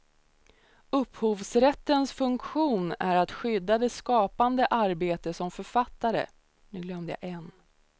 Upphovsrättens funktion är att skydda det skapande arbete som en författare, konstnär eller fotograf lagt ned på att skapa ett verk.